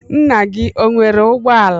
Nna gị o nwere ụgbọala?